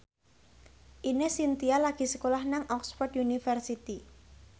Ine Shintya lagi sekolah nang Oxford university